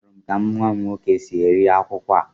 Ahụrụ m ka nwa m nwoke si eri akwukwo a